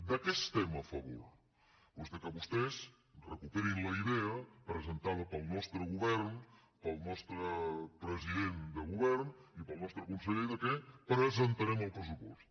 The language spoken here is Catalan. de què estem a favor doncs que vostès recuperin la idea presentada pel nostre govern pel nostre presi·dent de govern i pel nostre conseller que presentarem el pressupost